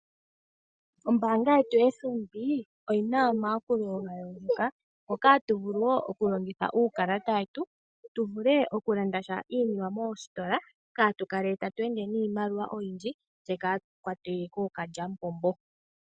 Ombaanga yetu yoFNB oyina omayakulo gayooloka, ngoka ha tu vulu woo okulongitha uukalata we tu tu vule oku landa sha iinima moositola kaatu kale tatu ende niimaliwa oyindji tse kaatu kwa twe koo ka lya mupombo.